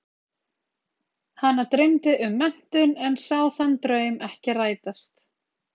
Hana dreymdi um menntun en sá þann draum ekki rætast.